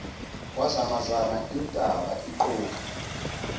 kwazamazama intaba iqokli